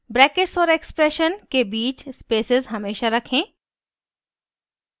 brackets और expression के बीच spaces हमेशा रखें